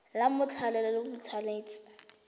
la mothale o le tshwanetse